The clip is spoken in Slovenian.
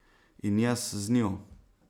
In jaz z njo.